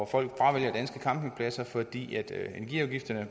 folk fravælger fordi energiafgifterne